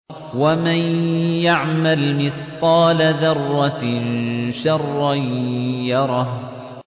وَمَن يَعْمَلْ مِثْقَالَ ذَرَّةٍ شَرًّا يَرَهُ